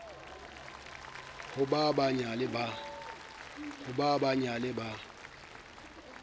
ho ba ba nyale ba